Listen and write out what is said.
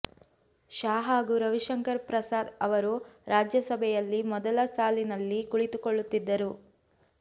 ಶಾ ಹಾಗೂ ರವಿಶಂಕರ್ ಪ್ರಸಾದ್ ಅವರು ರಾಜ್ಯಸಭೆಯಲ್ಲಿ ಮೊದಲ ಸಾಲಿನಲ್ಲಿ ಕುಳಿತುಕೊಳ್ಳುತ್ತಿದ್ದರು